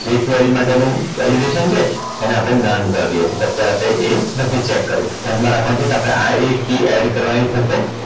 જે query માટેનું validation છે એને આપણે non કરી દઈએ છીએ આપણે એ નથી check કરવું ધ્યાનમાં રાખવાનું છે કે આ એક key add કરવાની થશે